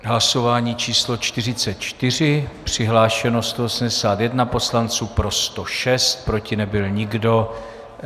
Hlasování číslo 44, přihlášeno 181 poslanců, pro 106, proti nebyl nikdo.